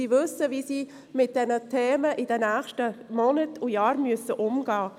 Sie weiss, wie sie mit diesen Themen in den nächsten Monaten und Jahren umgehen muss.